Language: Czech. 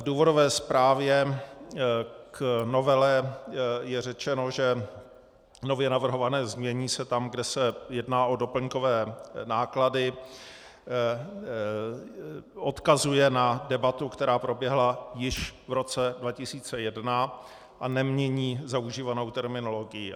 V důvodové zprávě k novele je řečeno, že nově navrhované znění se tam, kde se jedná o doplňkové náklady, odkazuje na debatu, která proběhla již v roce 2001, a nemění zaužívanou terminologii.